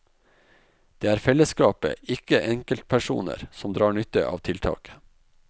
Det er fellesskapet, ikke enkeltpersoner, som drar nytte av tiltaket.